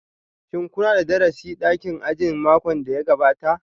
Shin kuna da darasi a dakin ajin makon da ya gabata?